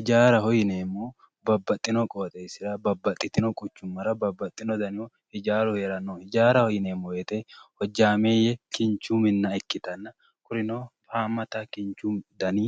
Ijaaraho yineemmohu Babbaxxino qooxeessira babbaxxitino quchummara babbaxxino danihu ijaaru heerano ijaaraho yineemmo woyiite hojjaameeyye kinchu minna ikkitanna kunino haammata kinchu dani